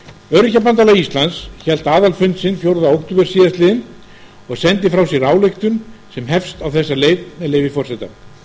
öryrkjabandalag íslands hélt aðalfund sinn fjórða október síðastliðinn og sendi frá sér ályktun sem hefst á þessa leið með leyfi forseta